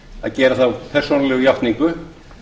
að gera þá persónulegu játningu